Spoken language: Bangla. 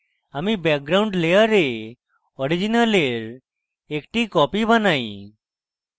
আমি background layer original একটি copy বানাই